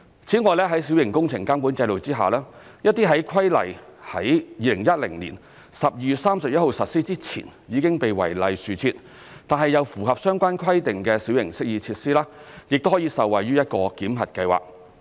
此外，在小型工程監管制度下，一些在規例於2010年12月31日實施前已經被違例豎設，但又符合相關規定的小型適意設施，亦可以受惠於一個檢核計劃。